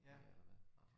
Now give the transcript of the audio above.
Det er der da